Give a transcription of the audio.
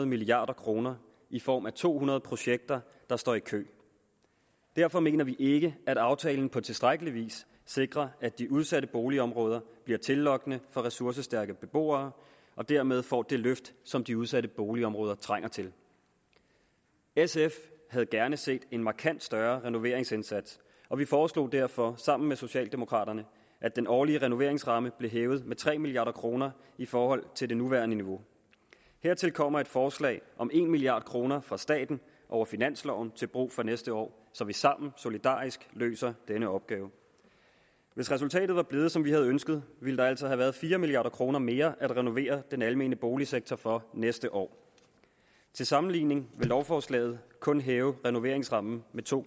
milliard kroner i form af to hundrede projekter der står i kø derfor mener vi ikke at aftalen på tilstrækkelig vis sikrer at de udsatte boligområder bliver tillokkende for ressourcestærke beboere og dermed får det løft som de udsatte boligområder trænger til sf havde gerne set en markant større renoveringsindsats og vi foreslog derfor sammen med socialdemokraterne at den årlige renoveringsramme blev hævet med tre milliard kroner i forhold til det nuværende niveau hertil kommer et forslag om en milliard kroner fra staten over finansloven til brug for næste år så vi sammen solidarisk løser denne opgave hvis resultatet var blevet som vi havde ønsket ville der altså have været fire milliard kroner mere at renovere den almene boligsektor for næste år til sammenligning vil lovforslaget kun hæve renoveringsrammen med to